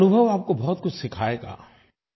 ये अनुभव आपको बहुत कुछ सिखाएगा